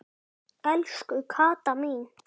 Elsku Kata mín.